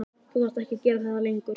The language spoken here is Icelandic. Þú þarft ekki að gera það lengur.